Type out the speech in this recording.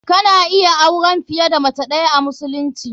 Kana iya auren fiye da mace ɗayaa musulunci.